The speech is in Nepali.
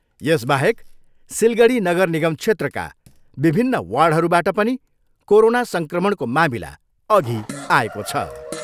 यसबाहेक सिलगढी नगरनिगम क्षेत्रका विभिन्न वार्डहरूबाट पनि कोरोना सङ्क्रमणको मामिला अघि आएको छ।